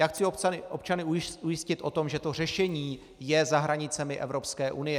Já chci občany ujistit o tom, že to řešení je za hranicemi Evropské unie.